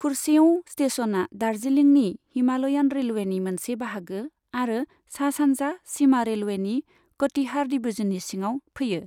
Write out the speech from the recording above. कुर्सेओं स्टेशनआ दार्जिलिं हिमालयान रेलवेनि मोनसे बाहागो आरो सा सान्जा सिमा रेलवेनि कटिहार डिवीजननि सिङाव फैयो।